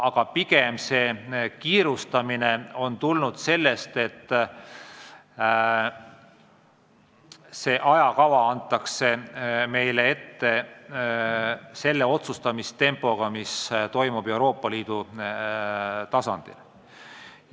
Aga pigem on kiirustamine tulnud sellest, et ajakava antakse meile ette samasugust otsustamistempot silmas pidades, nagu on Euroopa Liidu tasandil.